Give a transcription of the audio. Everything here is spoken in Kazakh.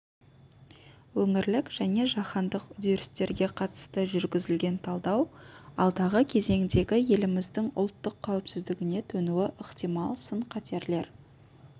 өңірлік және жаһандық үдерістерге қатысты жүргізілген талдау алдағы кезеңдегі еліміздің ұлттық қауіпсіздігіне төнуі ықтимал сын-қатерлер